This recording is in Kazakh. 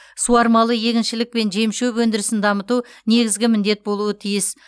суармалы егіншілік пен жем шөп өндірісін дамыту негізгі міндет болуы тиіс